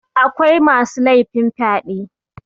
akwai masu laifin fyaɗe